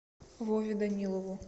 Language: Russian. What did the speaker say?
вове данилову